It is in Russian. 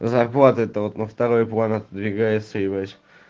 зарплата это вот на второй план отодвигается ебать